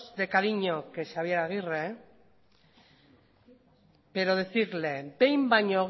de cariño que xabier agirre pero decirle behin baino